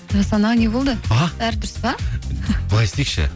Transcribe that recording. жасұлан аға не болды а бәрі дұрыс па былай істейікші